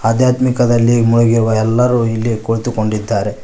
ಆದ್ಯಾತ್ಮಿಕದಲ್ಲಿ ಮುಳುಗಿರುವ ಎಲ್ಲರೂ ಇಲ್ಲಿ ಕುಳಿತುಕೊಂಡಿದ್ದಾರೆ.